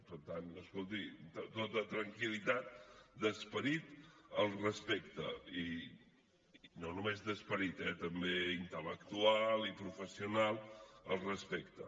per tant escolti tota tranquil·litat d’esperit al respecte i no només d’esperit eh també intel·lectual i professional al respecte